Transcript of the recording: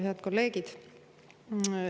Head kolleegid!